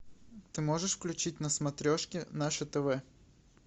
ты можешь включить на смотрешке наше тв